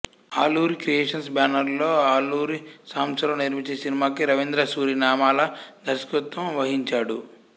Aluri creations బ్యానరులో ఆలూరి సాంబశివరావు నిర్మించిన ఈ సినిమాకి రవీంద్రసూరి నామాల దర్శకత్వం వహించాడు